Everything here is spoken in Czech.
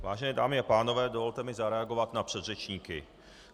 Vážené dámy a pánové, dovolte mi zareagovat na předřečníky.